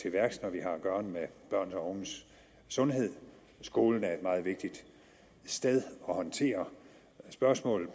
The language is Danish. værks når vi har at gøre med børn og unges sundhed skolen er et meget vigtigt sted at håndtere spørgsmålet